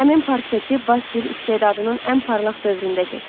Həmin portreti Basil istedadının ən parlaq dövründə çəkmişdi.